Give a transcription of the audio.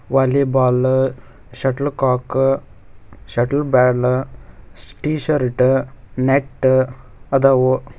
Volleyball shuttlecock shuttle ಬ್ಯಾರ್ಲ್ T shirt net ಅದಾವು.